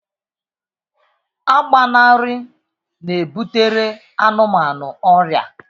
Agbanarị na-ebutere anụmanụ ọrịa